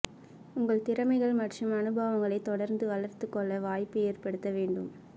உங்கள் திறமைகள் மற்றும் அனுபவங்களைத் தொடர்ந்து வளர்த்துக் கொள்ள வாய்ப்பு ஏற்படுத்த வேண்டும்